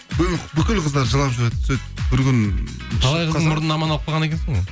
бүкіл қыздар жылап жүреді сөйтіп бір күні талай қыздың мұрнын аман алып қалған екенсің ғой